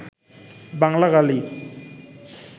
বাংলা গালি